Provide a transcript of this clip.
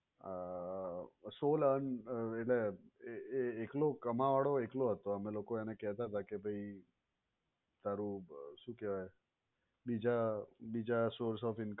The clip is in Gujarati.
અ sole earn એટલે એ એકલો એ એકલો કમાવાવાળો એકલો હતો અમે લોકો એ કહેતા હતા કે ભાઈ તારું શું કહેવાય બીજા બીજા source of income પર ધ્યાન આપ ને આમ તેમ